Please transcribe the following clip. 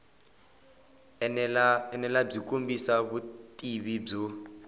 enela byi kombisa vutivi byo